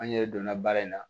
An yɛrɛ donna baara in na